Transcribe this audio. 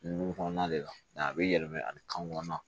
Dugu kɔnɔna de la a bɛ yɛlɛma ani kan kɔnɔna